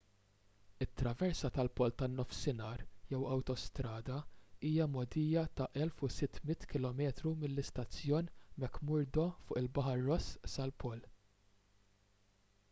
it-traversa tal-pol tan-nofsinhar jew awtostrada hija mogħdija ta' 1600 km mill-istazzjon mcmurdo fuq il-baħar ross sal-pol